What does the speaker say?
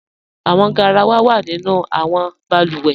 Awọn gáràwà wa nínu awọn bàlúwẹ́.